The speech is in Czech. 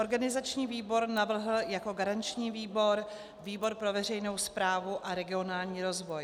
Organizační výbor navrhl jako garanční výbor výbor pro veřejnou správu a regionální rozvoj.